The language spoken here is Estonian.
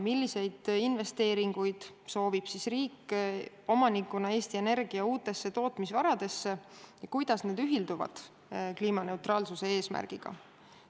Milliseid investeeringuid soovib riik omanikuna teha Eesti Energia uutesse tootmisvaradesse ja kuidas need ühilduvad kliimaneutraalsuse eesmärgiga?